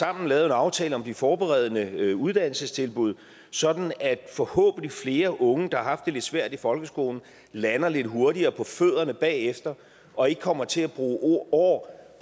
har lavet en aftale om de forberedende uddannelsestilbud sådan at forhåbentlig flere unge der har haft det lidt svært i folkeskolen lander lidt hurtigere på fødderne bagefter og ikke kommer til at bruge år